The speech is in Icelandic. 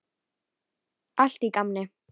Allt í gamni.